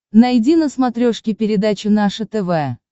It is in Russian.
найди на смотрешке передачу наше тв